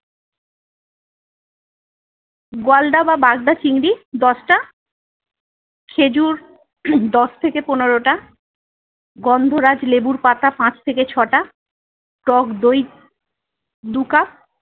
গলদা বা বাগদা চিংড়ি দশটা, খেজুর দশ থেকে পনেরোটা, গন্ধরাজ লেবুর পাতা পাঁচ থেকে ছটা, টকদই দু কাপ,